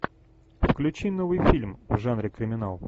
включи новый фильм в жанре криминал